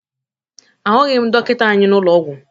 Ahụghị m dọkịta anyị n'ụlọ ọgwụ